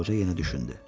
Qoca yenə düşündü.